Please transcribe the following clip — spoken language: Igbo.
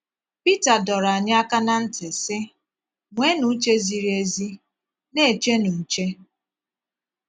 Pita dọrọ anyị aka ná ntị, sị: “ Nweenụ uche ziri ezi, na - echenụ nche. ”